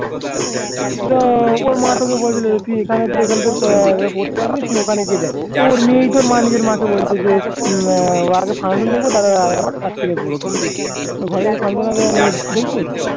তো ওর মা তো ওকে বলেছিলো যে তুই এখানে পড়তে আসবি তুই ওখানে গিয়ে দেখ তো ওর তো নিজের মা কে বলছে যে আগে Function দেখবো তারপরে রাত্তিরে পড়বো ঘরে Function হবে দেখবোনি